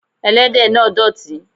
Ẹlẹ́dẹ̀ náà dọ̀tí.